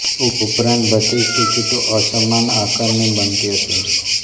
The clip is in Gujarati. ઉપરાંત બધી જ ટિકિટો અસમાન આકારની બનતી હતી